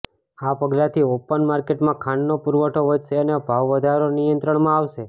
આ પગલાથી ઓપન માર્કેટમાં ખાંડનો પૂરવઠો વધશે અને ભાવવધારો નિયંત્રણમાં આવશે